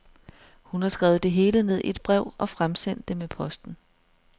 Hun har skrevet det hele ned i et brev og fremsendt det med posten.